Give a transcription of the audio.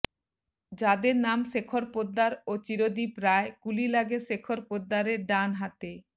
যাদের নাম শেখর পোদ্দার ও চিরদীপ রায় গুলি লাগে শেখর পোদ্দারের ডান হাতে